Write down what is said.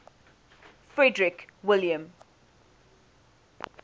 frederick william